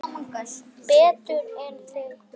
Betur en þig grunar.